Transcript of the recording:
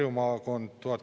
Lugupeetud kolleegid!